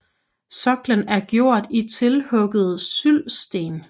Sokkelen er gjort i tilhuggede syldsten